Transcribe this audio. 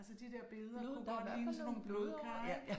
Altså de der billeder kunne godt ligne sådan nogle blodkar, ikk?